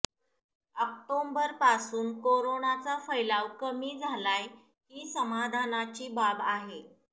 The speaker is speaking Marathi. ऑक्टोबरपासून कोरोनाचा फैलाव कमी झालाय ही समाधानाची बाब आहे